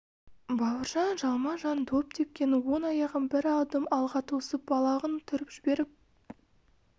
бауыржан жалма-жан доп тепкен оң аяғын бір адым алға тосып балағын түріп жіберіп